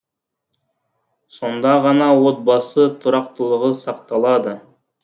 сонда ғана отбасы тұрақтылығы сақталады